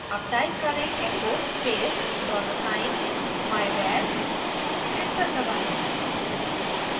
अब type करें echo space dollar sign myvar enter दबाएं